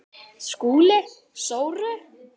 SKÚLI: Sóru?